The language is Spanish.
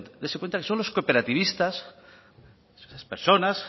dese cuenta que son los cooperativistas esas personas